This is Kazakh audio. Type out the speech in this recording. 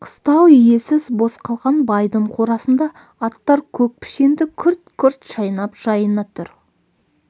қыстау иесіз бос қалған байдың қорасында аттар көк пішенді күрт-күрт шайнап жайына тұр